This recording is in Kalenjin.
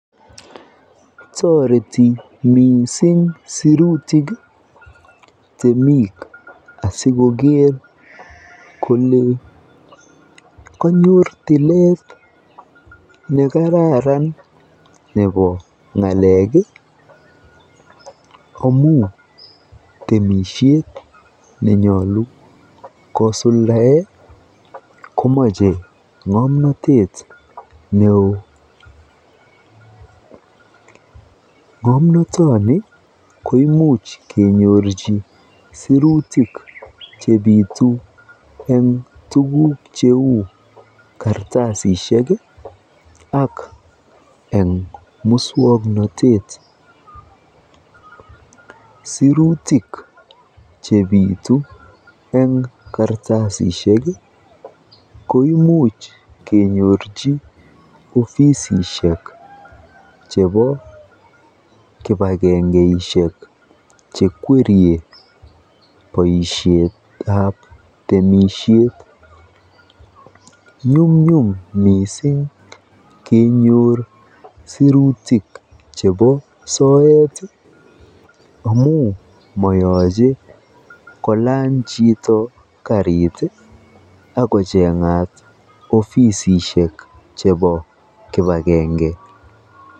Toreti mising sirutik temik asikoker kole konyor tilet ne kararan nebo ng'alek amu temisiet nenyolu kosuldae komache ng'omnatet neo. Ng'omnotoni koimuch kenyorji sirutik chebitu eng tuguk cheu kartasisiek ak eng muswoknotet. Sirutik chebitu eng kartasisiek koimuch kenyor eng ofisishiek chebo kipagengeisiek chekwerie boisietab temisiet. Nyumnyum mising mising kenyor sirutik chebo soet amu mayache kolany chito karit akocheng'at ofisisiek chebo kipagenge.